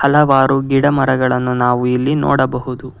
ಹಲವಾರು ಗಿಡಮರಗಳನ್ನು ನಾವು ಇಲ್ಲಿ ನೋಡಬಹುದು.